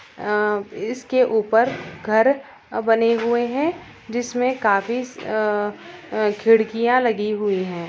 अ इसके ऊपर घर बने हुए है जिसमें काफी अ अ खिड़कियाँ लगी हुई है।